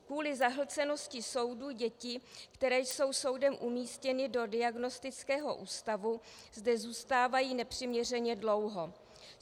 Kvůli zahlcenosti soudů děti, které jsou soudem umístěny do diagnostického ústavu, zde zůstávají nepřiměřeně dlouho.